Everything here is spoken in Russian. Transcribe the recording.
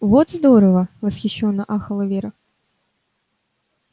вот здорово восхищённо ахала вера